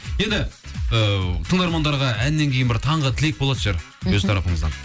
енді ііі тыңдармандарға әннен кейін бір таңғы тілек болатын шығар өз тарапыныңыздан